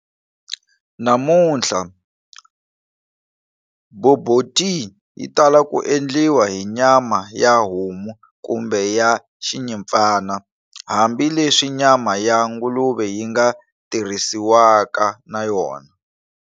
Namuntlha, bobotie yitala ku endliwa hi nyama ya homu kumbe ya xinyimpfana, hambi leswi nyama ya nguluve yinga tirhisiwaka na yona.